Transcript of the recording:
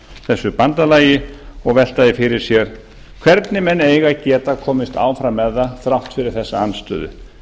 þessu bandalagi og velta því fyrir sér hvernig menn eiga að geta komist áfram með það þrátt fyrir þessa andstöðu